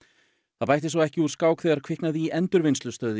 það bætti svo ekki úr skák þegar kviknaði í endurvinnslustöð í